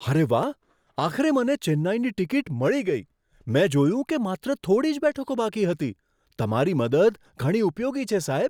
અરે વાહ! આખરે મને ચેન્નઈની ટિકિટ મળી ગઈ. મેં જોયું કે માત્ર થોડી જ બેઠકો બાકી હતી. તમારી મદદ ઘણી ઉપયોગી છે, સાહેબ.